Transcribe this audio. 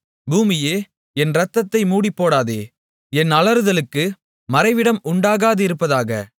பூமியே என் இரத்தத்தை மூடிப்போடாதே என் அலறுதலுக்கு மறைவிடம் உண்டாகாதிருப்பதாக